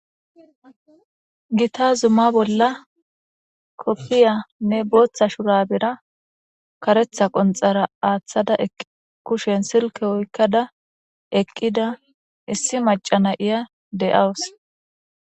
Gita Zuma bolla kopiyanne bootha shurabwra karetha konthara athada kushen silke oykada eqida issi maca Naya de'awusi